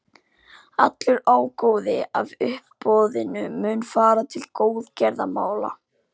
Allur ágóði af uppboðinu mun fara til góðgerðamála.